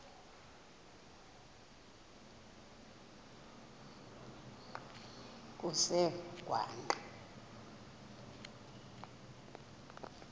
kusengwaqa